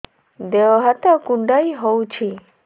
ଦେହ ହାତ କୁଣ୍ଡାଇ ହଉଛି